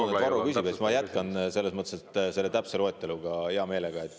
Aga ma usun, et Varro küsib ja siis ma jätkan selles mõttes selle täpse loeteluga hea meelega.